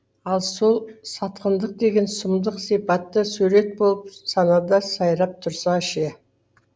ал сол сатқындық деген сұмдық сипатты сурет болып санада сайрап тұрса ше